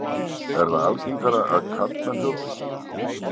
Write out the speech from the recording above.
Er það algengara að karlmenn hrjóti?